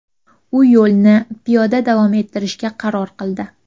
U yo‘lni piyoda davom ettirishga qaror qildi.